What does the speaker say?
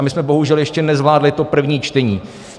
A my jsme bohužel ještě nezvládli to první čtení.